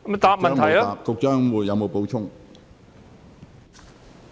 局長，你有否補充？